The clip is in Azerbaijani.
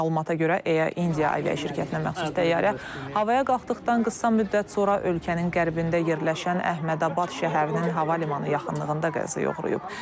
Məlumata görə, Air India hava yolları şirkətinə məxsus təyyarə havaya qalxdıqdan qısa müddət sonra ölkənin qərbində yerləşən Əhmədabad şəhərinin hava limanı yaxınlığında qəzaya uğrayıb.